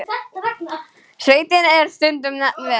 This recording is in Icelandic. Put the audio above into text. Sveitin er stundum nefnd Ver.